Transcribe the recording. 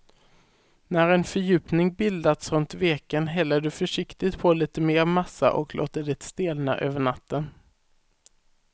När en fördjupning bildats runt veken häller du försiktigt på lite mer massa och låter det stelna över natten.